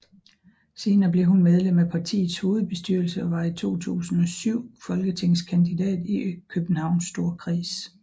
Senere blev hun medlem af partiets hovedbestyrelse og var i 2007 folketingskandidat i Københavns Storkreds